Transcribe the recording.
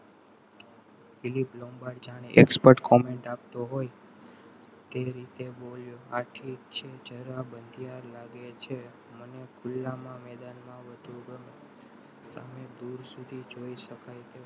philip Lombard જાણે export comment આપતો હોય તે રીતે બોલ્યો આ જગ્યા જરા બંધીયાળ લાગે છે ખુલ્લામાં મેદાનમાં વધુ તમે દૂર સુધી જોઈ શકાય.